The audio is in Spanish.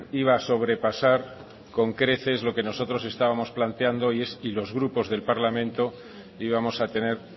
iba sobrepasar con creces lo que nosotros estábamos planteando y es y los grupos del parlamento íbamos a tener